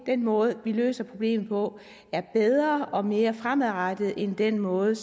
den måde vi løser problemet på er bedre og mere fremadrettet end den måde